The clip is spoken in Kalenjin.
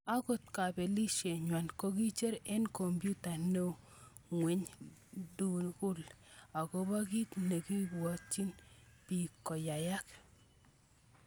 Ako kapelishen nywan kokicher eng komputa neo ngweny duni akobo kit nikomokobwatchin biik koyayak.